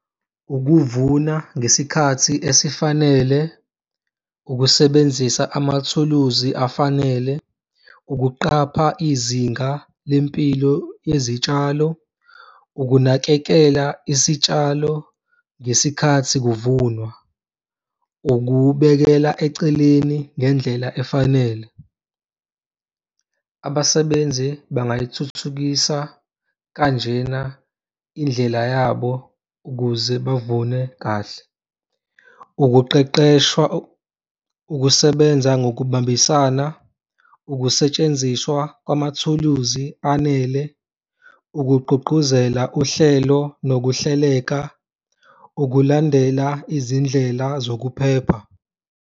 Ukuvuna ngesikhathi esifanele, ukusebenzisa amathuluzi afanele, ukuqapha izinga lempilo yezitshalo, ukunakekela isitshalo ngesikhathi kuvunwa, ukubekela eceleni ngendlela efanele. Abasebenzi bangayithuthukisa kanjena indlela yabo ukuze bavune kahle. Ukuqeqeshwa, ukusebenza ngokubambisana, ukusetshenziswa kwamathuluzi anele, ukugqugquzela uhlelo nokuhleleka, ukulandela izindlela zokuphepha.